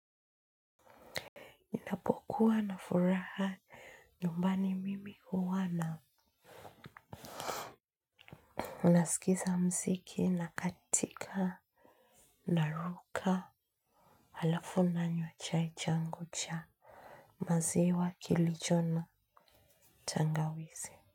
Kukua na furaha nyumbani mimi huwana. Nasikiza muziki na katika na ruka halafu nanywa chai changu cha maziwa kilichona tangawizi.